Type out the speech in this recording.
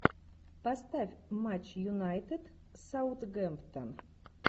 поставь матч юнайтед с саутгемптон